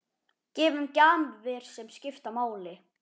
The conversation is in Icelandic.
Gefum gjafir sem skipta máli.